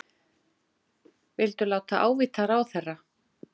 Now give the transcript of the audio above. Vildu láta ávíta ráðherra